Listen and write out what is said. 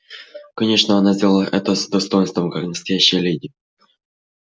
конечно она сделала это с достоинством как настоящая леди